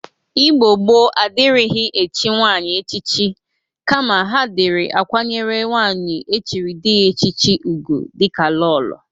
Igbo gboo adịrịghị echi nwaanyị echichi kama ha dịrị akwanyere nwaanyị echiri dị ya echichi ụgwụ dịka lolo.